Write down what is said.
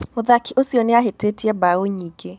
Mũthaki ũcio nĩ ahĩtĩtie mbaũ nyingĩ.